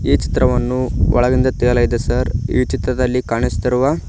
ಈ ಚಿತ್ರವನ್ನು ಒಳಗಿಂದ ತೆಗೆಯಲಾಗಿದೆ ಸರ್ ಈ ಚಿತ್ರದಲ್ಲಿ ಕಾಣಿಸುತ್ತಿರುವ--